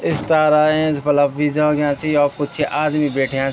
स्टार अयां बलब भी जग्यां छी यौ कुछ आदमी बैठ्याँ --